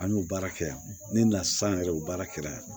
An y'o baara kɛ yan ne na s'an yɛrɛ ye o baara kɛra yan